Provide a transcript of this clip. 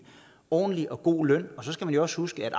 ordentlig og god løn og så skal man jo også huske at